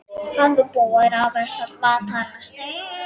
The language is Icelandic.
Hann var búinn að missa alla matar lyst.